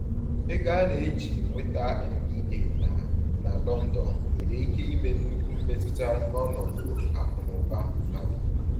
Ego a na-eji nweta MBA na na London nwere ike ime nnukwu mmetụta n’ọnọdụ akụ na ụba mmadụ.